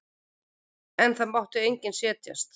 En það mátti enginn setjast.